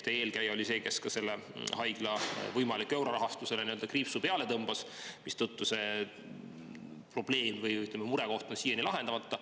Teie eelkäija oli see, kes sellele haigla võimalik eurorahastusele kriipsu peale tõmbas, mistõttu see probleem või, ütleme, mure on siiani lahendamata.